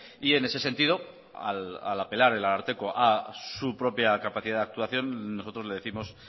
y en ese sentido al apelar el ararteko a su propia capacidad de actuación nosotros le décimos